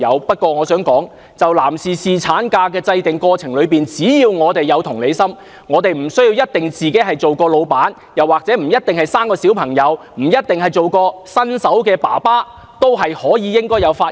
但我想指出，就着男士侍產假的制訂，只要我們有同理心，無需有做過老闆、生育小孩或擔任新手爸爸的經驗，也應該要發言。